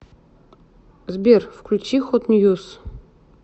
сбер включи хот ньюз